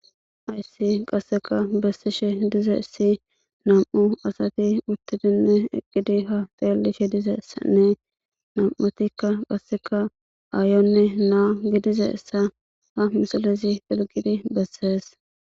Hayssi qasekka besishe dizayssi nam'u asati uuttidinne eqqidi ha xellishe dizayssanne nami'attikka qasekka ayanne naa gidizayssa ha misilezi qonccisi beses